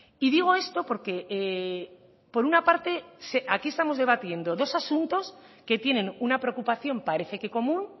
y digo esto porque por una parte aquí estamos debatiendo dos asuntos que tienen una preocupación parece que común